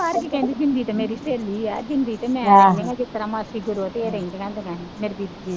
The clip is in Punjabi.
ਵੀ ਕਹਿੰਦੀ ਜ਼ਿੰਦੀ ਤਾਂ ਮੇਰੀ ਸਹੇਲੀ ਹੈ, ਜ਼ਿੰਦੀ ਅਤੇ ਮੈਂ, ਮੈ. ਕਿਹਾ ਜਿਸ ਤਰ੍ਹਾਂ ਮਰੳਜ਼ੀ ਕਰੋ, ਉੱਥੇ ਇਹ ਰਹਿੰਦੀਆਂ ਹੁੰਦੀਆਂ ਸੀ